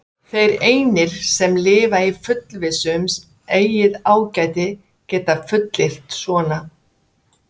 Þeir einir, sem lifa í fullvissu um eigið ágæti, geta fullyrt svona.